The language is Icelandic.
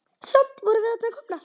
Samt vorum við þarna komnar.